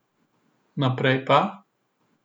Naprej pa?